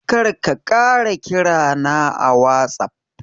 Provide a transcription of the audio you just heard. Kar ka ƙara kira na a watsaf.